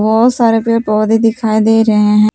बहुत सारे पेड़ पौधे दिखाई दे रहे हैं।